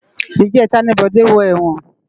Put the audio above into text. Ijètá ni Bode wò èwòn